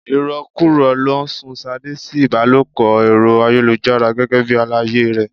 Irokuro ló sun Ṣadé sí ibalopo Ẹ̀rọ ayélujára gẹ́gẹ́ bí àlàyé rẹ.